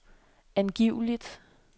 angiveligt